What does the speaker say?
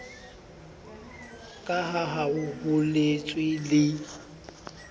ka ha ho boletswe le